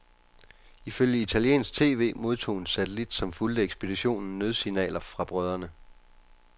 Ifølge italiensk tv modtog en satellit, som fulgte ekspeditionen, nødsignaler fra brødrene.